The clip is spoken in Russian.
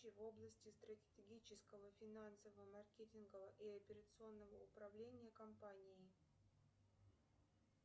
в области стратегического финансового маркетингового и операционного управления компанией